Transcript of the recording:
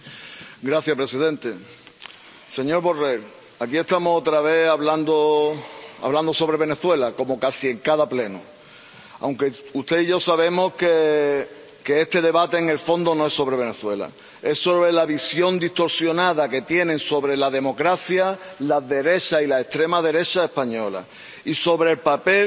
Señor presidente, señor Borrell, aquí estamos otra vez hablando sobre Venezuela, como casi en cada Pleno, aunque usted y yo sabemos que este debate en el fondo no es sobre Venezuela, es sobre la visión distorsionada que tienen sobre la democracia la derecha y la extrema derecha española, y sobre el papel